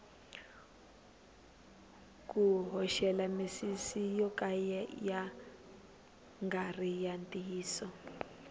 ku hoxela misisi yo ka ya ngari ya ntiyiso